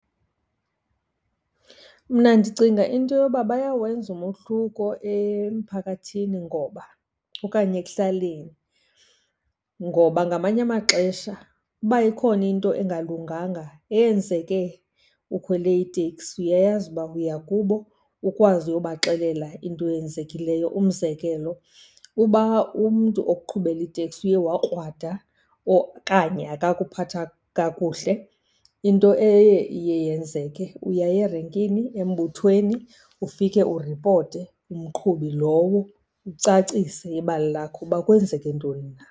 Mna ndicinga into yoba bayawenza umohluko emphakathini ngoba okanye ekuhlaleni, ngoba ngamanye amaxesha uba ikhona into engalunganga eyenzeke ukhwele iteksi, uyayazi uba uya kubo ukwazi uyobaxelela into eyenzekileyo. Umzekelo, uba umntu okuqhubela iteksi uye wakrwada okanye akakuphatha kakuhle, into eye iye yenzeke uyaya erenkini embuthweni ufike uripote umqhubi lowo, ucacise ibali lakho uba kwenzeke ntoni na.